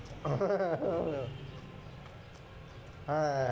হ্যাঁ